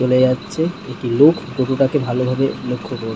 চলে যাচ্ছে। একটি লোক ফটো টাকে ভালোভাবে লক্ষ্য করে।